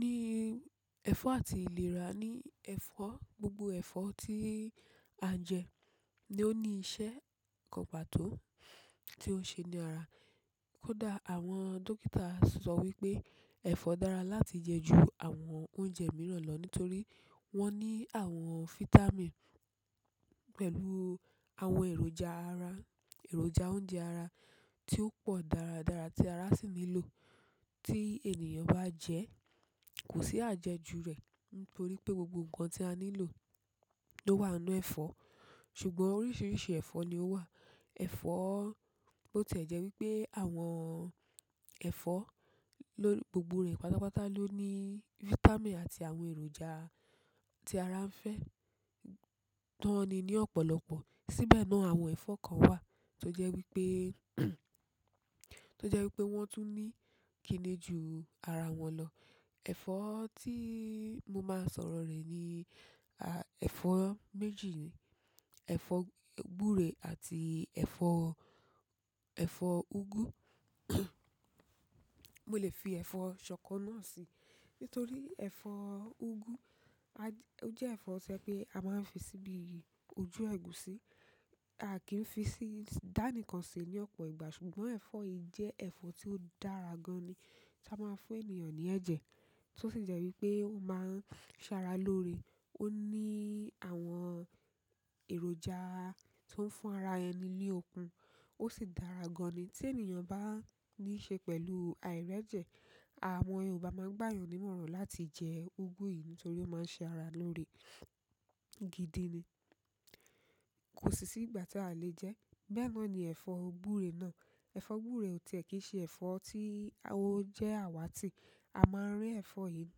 Ni ẹ̀fọ́ àti ìlera ni ẹ̀fọ́, gbogbo ẹ̀fọ́ tí a jẹ ni ó ní iṣẹ́ kan pàtó tí ó n ṣe ní ara. Kódà àwọn dókítà sọ wípé ẹ̀fọ́ dára láti jẹ ju àwọn oúnjẹ mìíràn lọ nítorí wọ́n ní àwọn fítámìn pẹ̀lú àwọn èròjà ara, èròjà oúnjẹ ara tí ó pọ̀ dáradára tí ara sì nílò. Tí ènìyàn bá jẹ́, kò sí àjẹjù rẹ̀ nítorí pé gbogbo ǹkan tí a nílò ló wà n'nú ẹ̀fọ́. Ṣùgbọ́n oríṣiríṣi ẹ̀fọ́ ni ó wà. Ẹ̀fọ́, bó tí è jẹ́ wípé àwọn ẹ̀fọ́ ló-- gbogbo rẹ̀ pàtápàta ló ní fítámìn àti àwọn èròjà tí ara ń fẹ́. Ti won ni ní ọ̀pọ̀lọpọ̀. Síbẹ̀ náà àwọn ẹ̀fọ́ kan wà tó jẹ́ wípé, tó jẹ́ wípé wọ́n tún ní kìni ju ara wọn lọ. Ẹ̀fọ́ tí mo máa sọ̀rọ̀ rẹ̀ ni, ẹ̀fọ́ méjì ni. Ẹ̀fọ́ gbúre àti ẹ̀fọ́, ẹ̀fọ́ úgú. Mo lẹ́ fi ẹ̀fọ́ ṣọkọ náà sí nítorí ẹ̀fọ́ úgú, a j-- ó jẹ́ ẹ̀fọ́ tí a máa ń fi síbi ojú ẹ̀gúsí. A ki n fi si-- da ni kan se ni opo ìgbà ṣùgbọ́n ẹ̀fọ́ yi je ẹ̀fọ́ ti o dára gan ni, a maa fún ènìyàn ni ẹ̀jẹ̀. Tó sì jẹ́ wípé ó máa ń ṣára lóore. Ó ní àwọn èròjà tó ń fún ara ẹni ni okun. Ó sì dára gan ni tí ènìyàn bá ní í ṣe pẹ̀lú àìrẹ̀jẹ̀. Àwọn Yorùbá máa ń gbàayàn nímọ̀ràn láti jẹ úgú yìí nítorí ó máa ń ṣe ara lóore gidi ni. Ko si si ìgbà ta a le je. Bẹ́ẹ̀ náà ni ẹ̀fọ́ gbúre náà. Ẹ̀fọ́ gbúre ò tí e kí n ṣe ẹ̀fọ́ tí ó jẹ́ àwàtì. A máa ń rí ẹ̀fọ́ yìí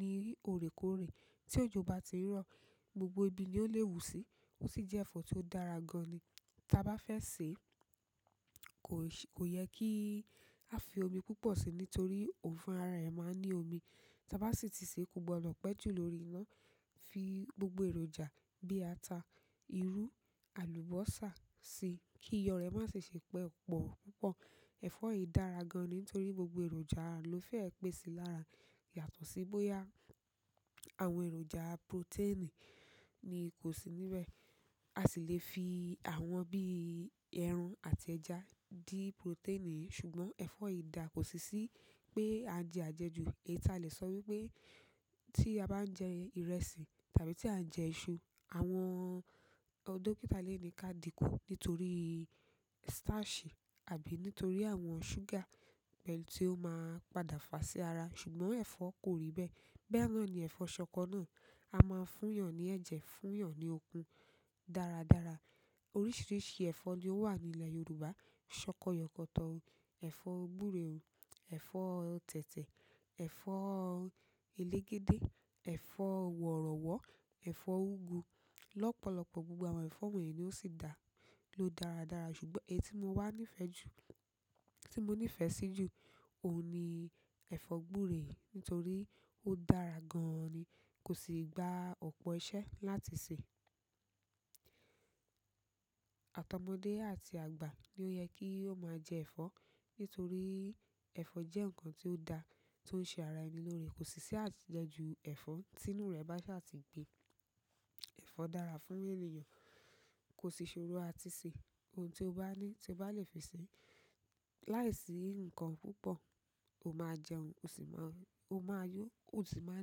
ní òrékòorè. Tí òjò bá ti n rọ̀, gbogbo ibi ni ó lè wù sí. Ó sì jẹ́ ẹ̀fọ́ tí ó dára gan ni. Ta bá fẹ́ sè é, kò ṣè, kò yẹ kí a fi omi púpọ̀ si nítorí òun fún ara ẹ máa n ní omi. Ta bá sì ti sè é, kò gbọdọ̀ pẹ́ jù lórí iná. Fi gbogbo èròjà bí ata, irú, àlùbọ́sà si kí iyọ̀ rẹ̀ má sì ṣe pọ̀ púpọ̀. Ẹ̀fọ́ yìí dára gan ni nítorí gbogbo èròjà ló fẹ́ ẹ pèsi lára yàtọ̀ sí bóyá àwọn èròjà protein ni kò sí níbẹ̀. A si le fi àwọn bi i ẹran àti ẹja di protein yìí, ṣùgbọ́n ẹ̀fọ́ yìí daa, kosi si pe a nje ajeju èyí ta le so wípé ti a ba n je ìrẹsì tàbí ti a n je isu. Àwọn dókítà lè ní ká dìkun nítorí starch àbí nítorí àwọn ṣúgà pẹ̀lú tí ó máa ń padà fà sí ara. Ṣùgbọ́n ẹ̀fọ́ kò rí bẹ́ẹ̀. Bẹ́ẹ̀ náà ni ẹ̀fọ́ ṣọkọ náà. A máa ń fún'yàn ní ẹ̀jẹ̀, fún'yàn ní okun dáradára. Oríṣiríṣi ẹ̀fọ́ ni ó wà ní ilẹ̀ Yorùbá. Ṣọkọ yọkọ̀tọ̀, ẹ̀fọ́ gbúre, ẹ̀fọ́ tẹ̀tẹ̀, ẹ̀fọ́ elégédé, ẹ̀fọ́ wọ̀rọ̀wọ́, ẹ̀fọ́ úgú lọ́pọ̀lọpọ̀ gbogbo àwọn ẹ̀fọ́ wọ̀nyí ni ó sì dà, ló dáradára. Ṣùgbọ́n èyí tí mo wà nífẹ̀ẹ́ jù, tí mo nífẹ̀ẹ́ sí jù, òun ni ẹ̀fọ́ gbúre nítorí ó dára gan-an ni. Kò sì gba ọ̀pọ̀ iṣẹ́ láti sè. Àtọmọdé àti àgbà ni ó yẹ kí ó máa jẹ ẹ̀fọ́ nítorí ẹ̀fọ́ jẹ́ ǹkan tí ó daa, tó ń ṣe ara ẹni lóore. Kò sì sí àjẹjù ẹ̀fọ́ t'inú rẹ̀ bá sa á ti gbé. Ẹ̀fọ́ dára fún ènìyàn, kò sì ṣòro àti ṣe. Ohun tí o bá ní, tí o bá lè fi sè é. Láìsí nǹkan púpọ̀, o máa jẹun, o sì máa, o máa yó, o sì máa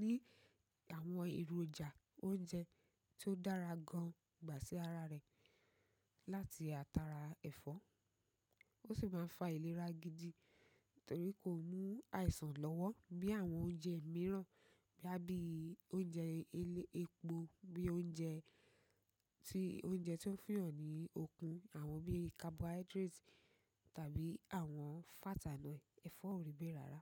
ní àwọn èròjà oúnjẹ tó dára gan gbà sí ara rẹ̀ láti átàrà ẹ̀fọ́. O si maa n fa ìlera gidi, torí ko mu àìsàn lowo bíi àwọn oúnjẹ miran, boya bíi oúnjẹ elep--epo, bíi oúnjẹ ti oúnjẹ to n fun'yan ni okun àwọn bíi cabohydrate, tàbí àwọn fat and oil. Ẹ̀fọ́ ò rí bẹ́ẹ̀ rárá.